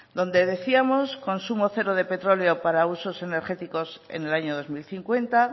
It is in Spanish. donde decíamos consumo cero de petróleo para usos energéticos en el año dos mil cincuenta